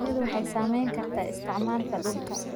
Shinnidu waxay saamayn kartaa isticmaalka dhulka.